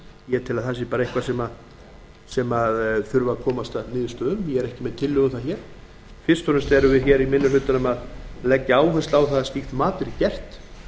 ég tel að það sé eitthvað sem þurfi að komast að niðurstöðu um en ég er ekki með tillögurnar hér fyrst og fremst erum við í minni hlutanum að leggja áherslu á að slíkt mat verði gert